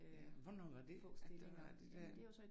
Ja hvornår var det at det var det dér